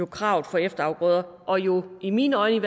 kravet for efterafgrøder og jo i mine øjne